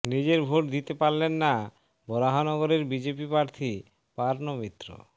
নিজের ভোট দিতে পারলেন না বরাহনগরের বিজেপি প্রার্থী পার্নো মিত্র